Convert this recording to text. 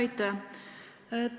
Aitäh!